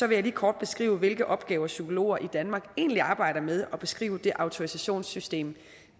jeg lige kort beskrive hvilke opgaver psykologer i danmark egentlig arbejder med og beskrive det autorisationssystem